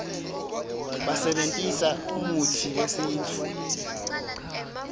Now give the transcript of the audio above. basebentisa umutsi wesintfu